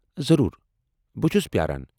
ضروُر۔ بہٕ چھس پیاران۔